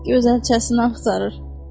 Gözəlçəsini axtarır.